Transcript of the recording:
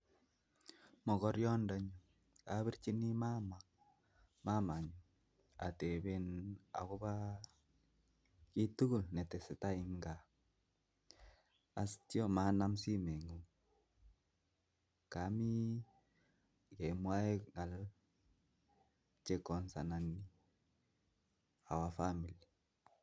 Mokoriandoni kopirchini mama, mamanyun ateben akopo kitugul netesetai eng kaa asitian manum simengung komi kemwae ng'al che concernt ak our family.